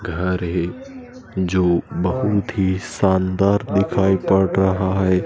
घर है जो बहुत ही शानदार दिखाई पड़ रहा है।